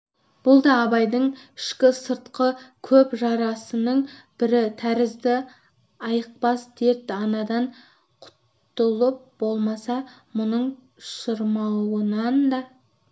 бұл да абайдың ішкі-сыртқы көп жарасының бірі тәрізді айықпас дерт анадан құтылып болмаса мұның шырмауынан да